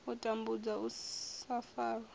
u tambudzwa u sa farwa